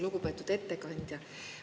Lugupeetud ettekandja!